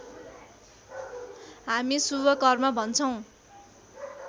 हामी शुभ कर्म भन्छौँ